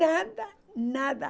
Nada, nada.